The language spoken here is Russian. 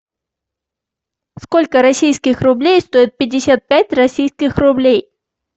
сколько российских рублей стоит пятьдесят пять российских рублей